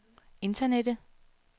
internettet